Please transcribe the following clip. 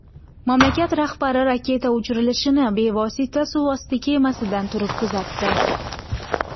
Mamlakat rahbari raketa uchirilishini bevosita suvosti kemasidan turib kuzatdi.